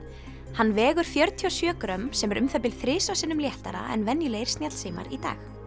hann vegur fjörutíu og sjö grömm sem er um það bil þrisvar sinnum léttara en venjulegir snjallsímar í dag